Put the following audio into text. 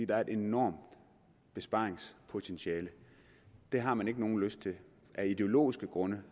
der er et enormt besparingspotentiale det har man ikke nogen lyst til af ideologiske grunde